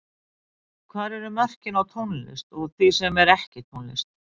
Hvar eru mörkin á tónlist og því sem er ekki tónlist?